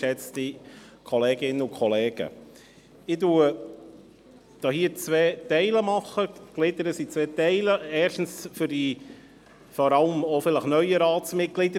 Ich gliedere meine Ausführungen in zwei Teile, erstens, vor allem auch für die neueren Ratsmitglieder: